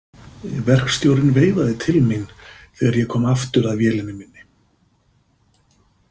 Verkstjórinn veifaði til mín þegar ég kom aftur að vélinni minni.